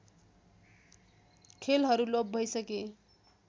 खेलहरू लोप भइसके